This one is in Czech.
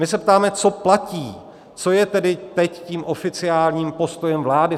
My se ptáme, co platí, co je tedy teď tím oficiálním postojem vlády.